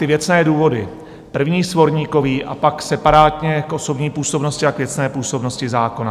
Ty věcné důvody - první svorníkový a pak separátně k osobní působnosti a k věcné působnosti zákona.